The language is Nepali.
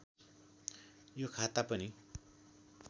यो खाता पनि